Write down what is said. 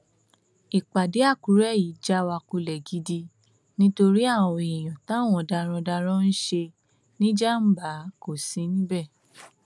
ìpàdé àkùrẹ yìí já wa kulẹ gidi nítorí àwọn èèyàn táwọn darandaran ń ṣe níjàmbá kò sí níbẹ